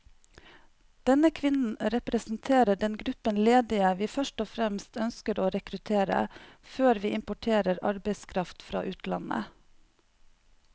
Denne kvinnen representerer den gruppen ledige vi først og fremst ønsker å rekruttere, før vi importerer arbeidskraft fra utlandet.